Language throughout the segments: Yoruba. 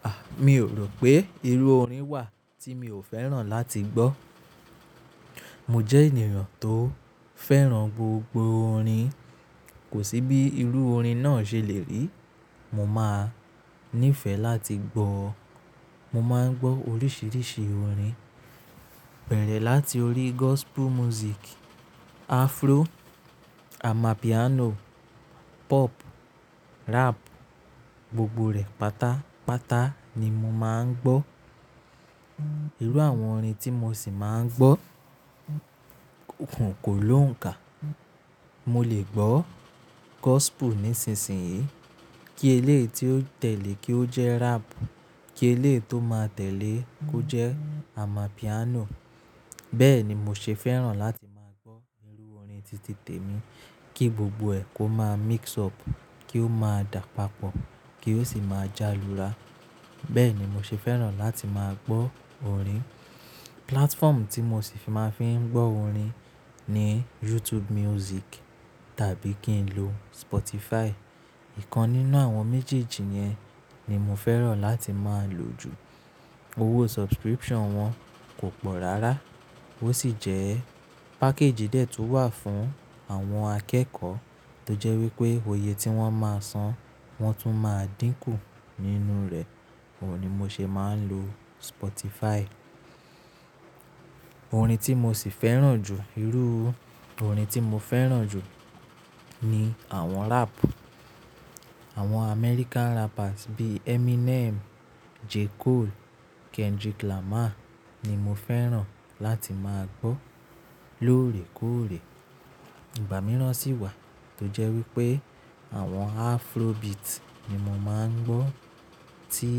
A! Mi ò rò pé irú orin wà tí mi ò fẹ́ràn láti gbọ́. Mo jẹ́ ènìyàn tó fẹ́ràn gbogbo orin, kò sí bí irú orin náà ṣe lè rí, mo máa nífẹ̀ẹ́ láti gbọ́. Mo máa ń gbọ́ oríṣiríṣi orin, bẹ̀rẹ̀ láti orí gospel music, Afro, amapiano, pop, rap, gbogbo rẹ̀ pátápátá ni mo máa ń gbọ́. Irú àwọn orin tí mo ṣì máa ń gbọ́ kò lóǹkà. Mo lè gbọ́ gospel nísinsìnyí, kí eléyi tí ó tẹ̀lé kí ó jẹ́ rap, kí eléyi tó máa tẹ̀lé kó jẹ́ amapiano. Bẹ́ẹ̀ ni mo ṣe fẹ́ràn láti máa gbọ́ irú orin títí tèmi, kí gbogbo ẹ̀ kó máa mix up, kí ó máa dà papọ̀ kí ó sì máa jálura. Bẹ́ẹ̀ ni mo ṣe fẹ́ràn láti máa gbọ́ orin. Platform tí mo ṣì máa fi ń gbọ́ orin ni YouTube music tàbí kí n lo Spotify. Ìkan nínú àwọn méjèèjì yẹn ni mo fẹ́ràn láti máa lò jù. Owó subscription wọn kò pọ̀ rárá. Ó sì jẹ́ package de tun wà fún àwọn akẹ́kọ̀ọ́ tó jẹ́ wípé òye tí wọ́n máa san wọ́n tún máa dínkù nínú rẹ̀. Ó ni mo ṣe máa ń lo Spotify. Orin tí mo ṣì fẹ́ràn jù, irú orin tí mo fẹ́ràn jù ni àwọn rap. Àwọn American rappers bí i Eminem, J. Cole, Kendrick Lamar ni mo fẹ́ràn láti máa gbọ́ lóòrèkóòrè. Ìgbà mìíràn sì wà tó jẹ́ wípé àwọn Afrobeat ni mo máa ń gbọ́ tí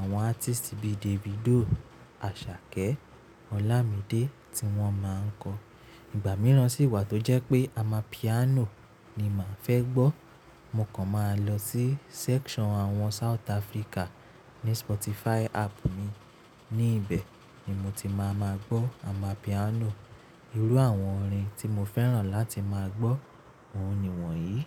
àwọn artist bí i Davido, Asake, Olamide tí wọ́n máa ń kọ. Ìgbà mìíràn sì wà tó jẹ́ pé amapiano ni màá fẹ́ gbọ́. Mo kan máa lọ sí section àwọn South Africa ní Spotify app mi. Ní ibẹ̀ ni mo ti máa máa gbọ́ amapiano. Irú àwọn orin tí mo fẹ́ràn láti máa gbọ́ òun ni wọ̀nyí.